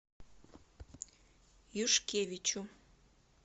юшкевичу